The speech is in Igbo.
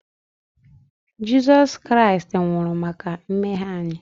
Jizọs Kraịst nwụrụ maka mmehie anyị